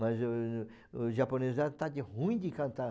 Mas o o o japonês já está de ruim de cantar.